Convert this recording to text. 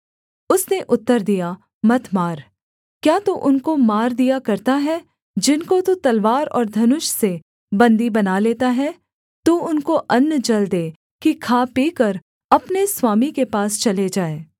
उसने उत्तर दिया मत मार क्या तू उनको मार दिया करता है जिनको तू तलवार और धनुष से बन्दी बना लेता है तू उनको अन्न जल दे कि खा पीकर अपने स्वामी के पास चले जाएँ